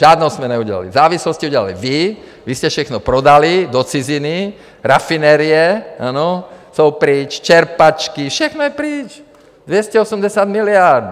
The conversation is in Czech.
Žádnou jsme neudělali, závislost jste udělali vy, vy jste všechno prodali do ciziny, rafinerie, ano, jsou pryč, čerpačky, všechno je pryč, 280 miliard!